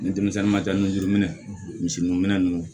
Ni denmisɛnnin ma taa nun juruminɛ misi nun minɛ ninnu